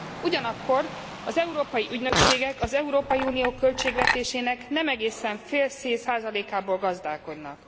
Ugyanakkor az európai ügynökségek az Európai Unió költségvetésének nem egészen fél százalékából gazdálkodnak.